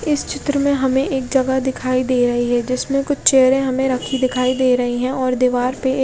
इस चित्र में हमे एक जगह दिखाई दे रही है जिसमे कुछ चेयर रखी दिखाई दे रही है और दिवार पे --